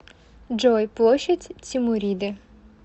джой площадь тимуриды